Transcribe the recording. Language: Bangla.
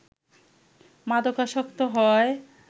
মাদকাসক্ত হয়